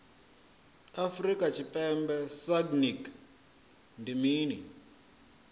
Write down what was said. afrika tshipembe sagnc ndi mini